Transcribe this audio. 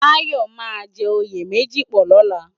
Tayo má jè óyé mèji pò lòlá